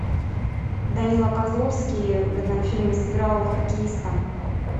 данила козловский в этом фильме сыграл хоккеиста